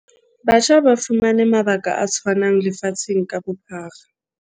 Batjha ba fumane mabaka a tshwanang lefatsheng ka bophara.